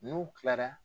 N'u kilara